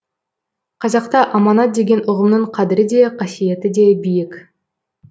қазақта аманат деген ұғымның қадірі де қасиеті де биік